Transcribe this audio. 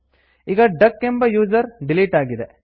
ಈಗ ಡಕ್ ಎಂಬ user delete ಆಗಿದೆ